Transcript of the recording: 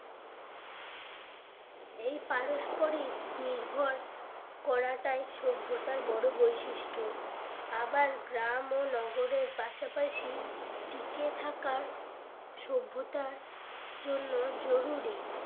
এই পারস্পরিক নির্ভর করাটাই সভ্যতার বড় বৈশিষ্ট্য আবার গ্রাম ও নগরের পাশাপাশি টিকে থাকার সভ্যতার জন্য জরুরী